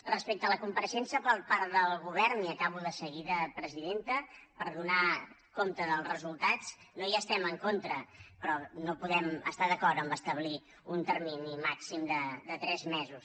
respecte a la compareixença per part del govern i acabo de seguida presidenta per donar compte dels resultats no hi estem en contra però no podem estar d’acord amb el fet d’establir un termini màxim de tres mesos